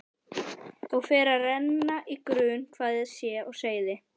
Og fer að renna í grun hvað sé á seyði.